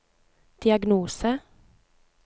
diagnose